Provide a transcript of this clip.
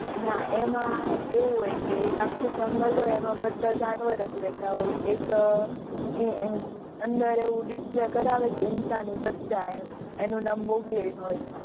ના એમાં એવું હોય કે એક આખું જંગલ એમાં બધા જાનવર જ રહેતા હોય. એક એ એમ અંદર એવું Display કરાવે ઇન્સાની બચ્ચા એમ, એનું નામ મોગલી હોય.